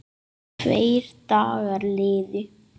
Tveir dagar liðu.